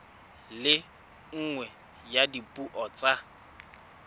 le nngwe ya dipuo tsa